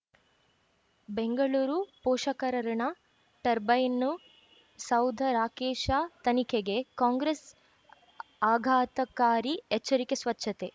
ಬೆಂಗಳೂರು ಪೋಷಕರಋಣ ಟರ್ಬೈನು ಸೌಧ ರಾಕೇಶ ತನಿಖೆಗೆ ಕಾಂಗ್ರೆಸ್ ಆಘಾತಕಾರಿ ಎಚ್ಚರಿಕೆ ಸ್ವಚ್ಛತೆ